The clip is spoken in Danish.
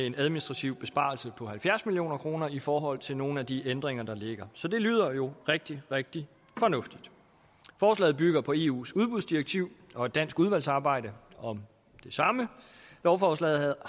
en administrativ besparelse på halvfjerds million kroner i forhold til nogle af de ændringer der ligger så det lyder jo rigtig rigtig fornuftigt forslaget bygger på eus udbudsdirektiv og et dansk udvalgsarbejde om det samme lovforslaget